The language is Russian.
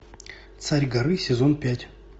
царь горы сезон пять